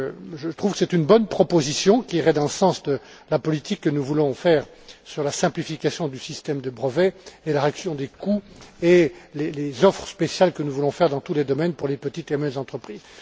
Je trouve que c'est une bonne proposition, qui irait dans le sens de la politique que nous voulons mettre en œuvre sur la simplification du système de brevets, la réduction des coûts et les offres spéciales que nous voulons faire dans tous les domaines pour les petites et moyennes entreprises.